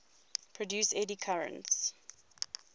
produce eddy currents